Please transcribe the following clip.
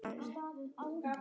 Eruð þið saman?